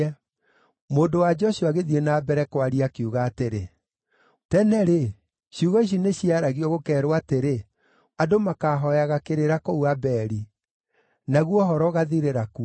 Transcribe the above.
Mũndũ-wa-nja ũcio agĩthiĩ na mbere kwaria, akiuga atĩrĩ, “Tene-rĩ, ciugo ici nĩciaragio, gũkeerwo atĩrĩ ‘Andũ makaahooyaga kĩrĩra kũu Abeli.’ Naguo ũhoro ũgaathirĩra kuo.